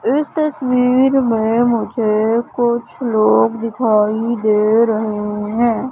इस तस्वीर में मुझे कुछ लोग दिखाई दे रहे हैं।